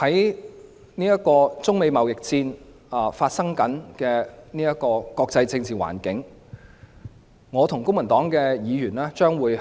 在中美貿易戰的國際政治環境下，我和公民黨的議員將會